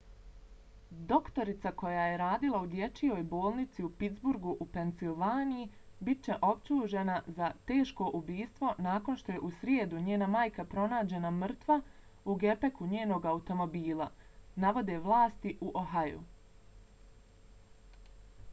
doktorica koja je radila u dječijoj bolnici u pittsburghu u pensilvaniji bit će optužena za teško ubistvo nakon što je u srijedu njena majka pronađena mrtva u gepeku njenog automobila navode vlasti u ohaju